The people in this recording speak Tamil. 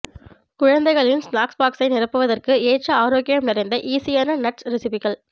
குழந்தைகளின் ஸ்நாக்ஸ் பாக்ஸை நிரப்புவதற்கு ஏற்ற ஆரோக்கியம் நிறைந்த ஈஸியான நட்ஸ் ரெசிப்பிகள்